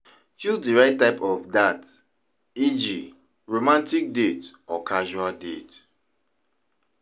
Choose di right type of dat eg romantic date or casual date